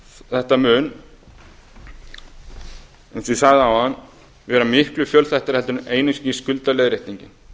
þetta mun eins og ég sagði áðan verða miklu fjölþættara heldur en einungis skuldaleiðréttingin